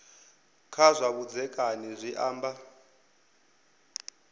kha zwa vhudzekani zwi amba